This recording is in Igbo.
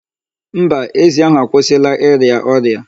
Mba, ezi ahu akwụsịla ịrịa ọrịa.